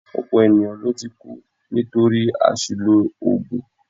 Ọ̀pọ̀ ènìyàn ló ti kú nítorí àṣìlò oògùn